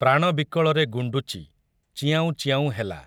ପ୍ରାଣ ବିକଳରେ ଗୁଣ୍ଡୁଚି, ଚିଆଁଉ ଚିଆଁଉ ହେଲା ।